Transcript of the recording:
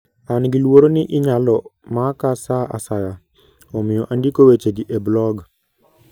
An gi luoro ni inyalo maka sa asaya, omiyo andiko wechegi e blog.